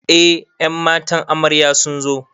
Eh ƴan matan amarya sunzo